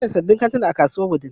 An gina sabbin kantuna a kasuwar Wudil.